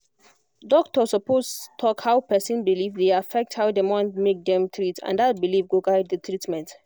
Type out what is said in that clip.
doctor suppose talk how person belief dey affect how dem want make dem treat and that belief go guide the treatment